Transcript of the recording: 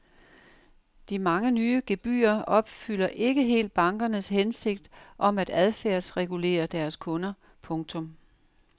De mange nye gebyrer opfylder ikke helt bankernes hensigt om at adfærdsregulere deres kunder. punktum